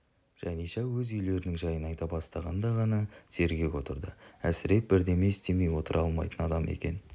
жаниша өз үйлерінің жайын айта бастағанда ғана сергек отырды әсіреп бірдеме істемей отыра алмайтын адам екен